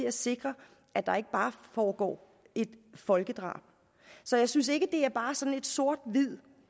at sikre at der ikke bare foregår et folkedrab så jeg synes ikke at det bare er sådan sort